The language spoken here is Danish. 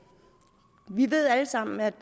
vi ved alle sammen at